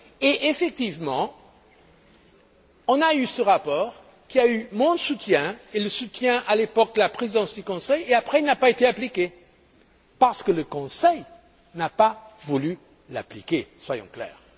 Et on a eu effectivement ce rapport, qui a eu mon soutien et le soutien, à l'époque, de la Présidence du Conseil. Ensuite, il n'a pas été appliqué parce que le Conseil n'a pas voulu l'appliquer, soyons clairs.